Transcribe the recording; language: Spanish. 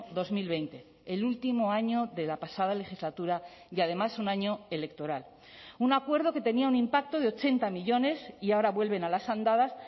dos mil veinte el último año de la pasada legislatura y además un año electoral un acuerdo que tenía un impacto de ochenta millónes y ahora vuelven a las andadas